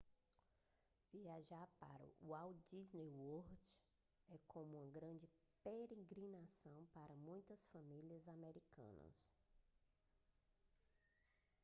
viajar para o walt disney world é como uma grande peregrinação para muitas famílias americanas